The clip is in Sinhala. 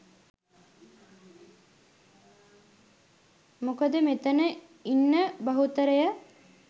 මොකද මෙතන ඉන්න බහුතරය